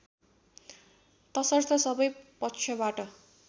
तसर्थ सबै पक्षबाट